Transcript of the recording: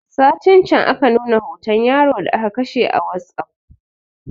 Satin can aka nuna hoton yaro da aka kashe a wasup